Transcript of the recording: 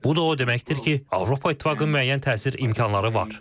Bu da o deməkdir ki, Avropa İttifaqının müəyyən təsir imkanları var.